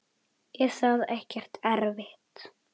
Er það ekkert erfitt?